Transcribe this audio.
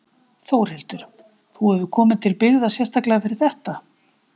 Þórhildur: Þú hefur komið til byggða sérstaklega fyrir þetta?